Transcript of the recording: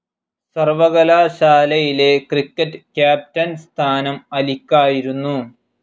സർവകലാശാലയിലെ cricket captain സ്ഥാനം അലിക്കായിരുന്നു.